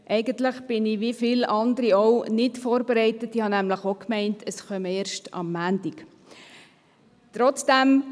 Eigentlich bin ich, wie viele andere auch, nicht vorbereitet, denn ich bin ebenfalls davon ausgegangen, dass dieses Geschäft erst am Montag an die Reihe kommt.